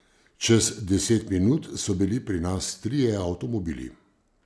Čez deset minut so bili pri nas trije avtomobili!